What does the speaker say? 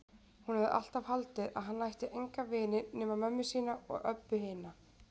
Hún hafði alltaf haldið að hann ætti enga vini nema mömmu sína og Öbbu hina.